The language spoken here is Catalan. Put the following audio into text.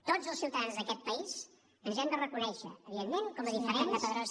tots els ciutadans d’aquest país ens hem de reconèixer evidentment com a diferents